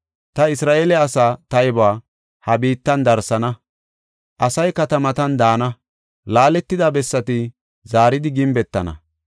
Ta Isra7eele asaa taybuwa ha biittan darsana; asay katamatan daana; laaletida bessati zaaridi gimbetana.